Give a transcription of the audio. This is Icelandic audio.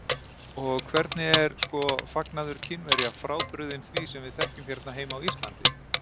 Og hvernig er, sko, fagnaður Kínverja frábrugðinn því sem við þekkjum hérna heima á Íslandi?